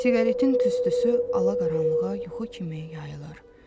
Siqaretin tüstüsü ala-qaranlığa yuxu kimi yayılır.